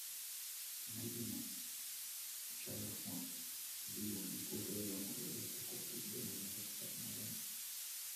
найди мне чай ахмад зеленый полукилограммовые упаковки где можно заказать на дом